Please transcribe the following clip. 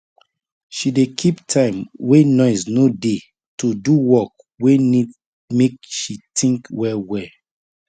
she dey keep time wey noise no dey to do work wey need make she think well well